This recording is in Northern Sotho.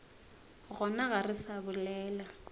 gona ga re sa bolela